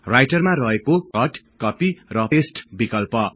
राइटरमा रहेको cut copy र paste विकल्प